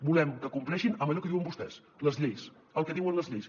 volem que compleixin amb allò que diuen vostès les lleis el que diuen les lleis